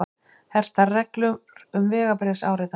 Hertar reglur um vegabréfsáritanir